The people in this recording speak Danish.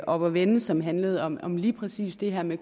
oppe at vende som handlede om om lige præcis det her med